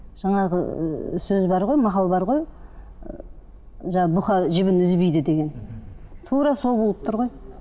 жаңағы ыыы сөз бар ғой мақал бар ғой ы жаңа бұқа жібін үзбейді деген тура сол болып тұр ғой